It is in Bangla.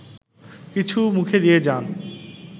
কিছু মুখে দিয়ে যান